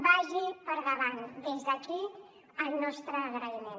vagi per endavant des d’aquí el nostre agraïment